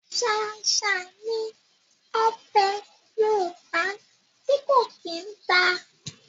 Ṣáṣá ni ọbẹ̀ Yorùbá ti ko kí n ta.